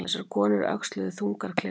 Þessar konur öxluðu þungar klyfjar.